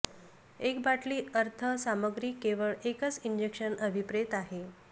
एक बाटली अर्थ सामग्री केवळ एकच इंजेक्शन अभिप्रेत आहे